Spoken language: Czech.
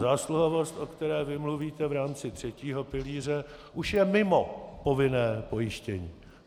Zásluhovost, o které vy mluvíte v rámci třetího pilíře, už je mimo povinné pojištění.